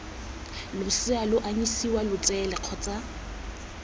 losea lo anyisiwa letsele kgotsa